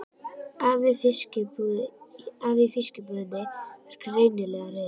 Afi í fiskbúðinni var greinilega reiður.